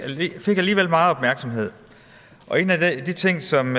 alligevel meget opmærksomhed en af de ting som